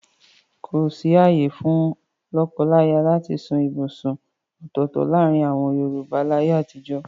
Kòsí ààyè fún lọ́kọláyà láti sún ibùsùn ọ̀tọ̀ọ̀tọ̀ láàrin àwọn Yorùbá láyé àtijọ́.